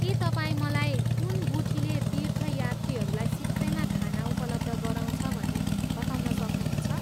के तपाईँ मलाई कुन गुठीले तीर्थयात्रीहरूलाई सित्तैमा खाना उपलब्ध गराउँछ भनी बताउन सक्नुहुन्छ?